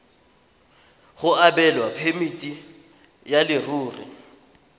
go abelwa phemiti ya leruri